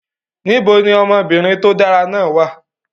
Níbo ni ọmọbìnrin tó dára náà wà?